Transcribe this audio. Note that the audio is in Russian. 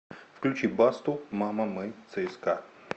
включи басту мама мы цска